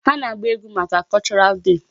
Ha na-agba egwu maka cultural day.